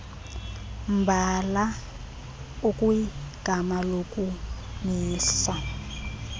mbala ukwigama lokumisa